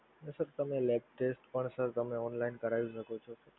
એ sir તમે lab test પણ તમે online કરાવી શકો છો.